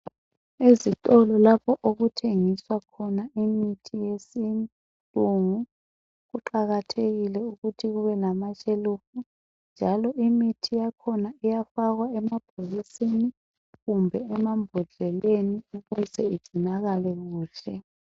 Ezitolo lapho okuthengiswa khona imithi yesilungu, kuqakathekile ukuthi kube lamashelufu njalo imithi yakhona iyafakwa emabhokisini kumbe emambhodleleni ukuze igcinakale kuhle.